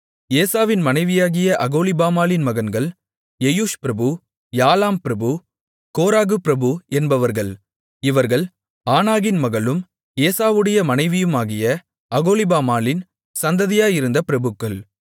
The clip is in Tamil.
ஏசாவின் மனைவியாகிய அகோலிபாமாளின் மகன்கள் எயூஷ் பிரபு யாலாம் பிரபு கோராகு பிரபு என்பவர்கள் இவர்கள் ஆனாகின் மகளும் ஏசாவுடைய மனைவியுமாகிய அகோலிபாமாளின் சந்ததியாயிருந்த பிரபுக்கள்